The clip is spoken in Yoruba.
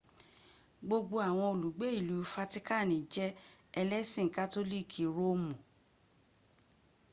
gbogbo awon olugbe ilu fatikani je elesin katoliki roomu